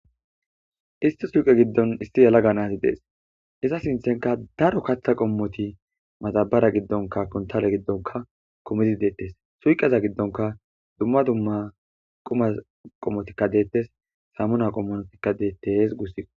Isti suuqe giddon isti yala ganasi dees iza sinthenka daro katha qommoti maxabara giddonka kontale giddonka komizi deettes suyqeza giddonka dumma dumma quma qommotikka deettes samuna qommonotikka deettees gussi